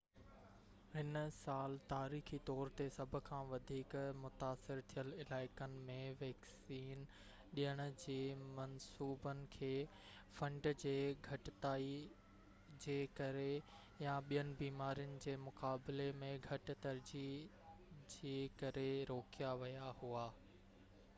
هن سال تاريخي طور تي سڀ کان وڌيڪ متاثر ٿيل علائقن ۾ ويڪسين ڏيڻ جي منصوبن کي فنڊ جي گهٽتائي جي ڪري يا ٻين بيمارين جي مقابلي ۾ گهٽ ترجيح جي ڪري روڪيا ويا هئا